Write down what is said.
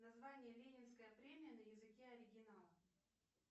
название ленинская премия на языке оригинала